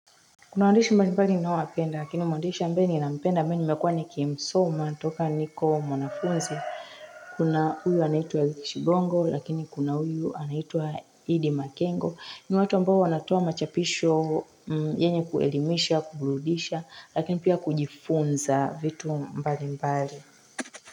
Kuna waandishi mbalimbali ninaopenda lakini mwaandishi ambayo ninampenda ambayo nimekuwa nikimsoma toka niko mwanafunzi Kuna huyu anaitwa eric shigongo lakini kuna huyu anaitwa iddi makengo ni watu ambao wanatoa machapisho yenye kuelimisha kubrudisha lakini pia kujifunza vitu mbalimbali.